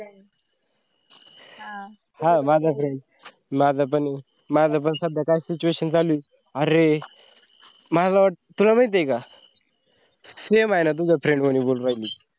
आह माझा पण, माझा पण, माझा पण सद्या कायी situation चालूये अरे मला वाटत तुला महिती हे का? same हाय ना तुझ्या friend वाणी बोलू रायली.